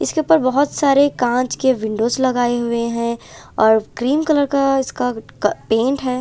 इसके ऊपर बहोत सारे कांच के विंडोज लगाए हुए हैं और क्रीम कलर का इसका पेंट है।